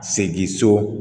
Segin so